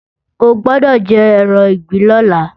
O gbọ́dọ̀ jẹran ìgbín lọ́la!